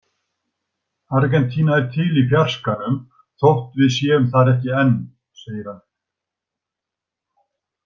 Argentína er til í fjarskanum þótt við séum þar ekki enn, segir hann.